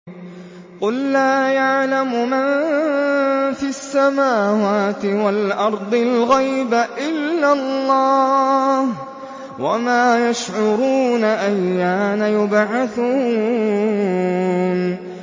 قُل لَّا يَعْلَمُ مَن فِي السَّمَاوَاتِ وَالْأَرْضِ الْغَيْبَ إِلَّا اللَّهُ ۚ وَمَا يَشْعُرُونَ أَيَّانَ يُبْعَثُونَ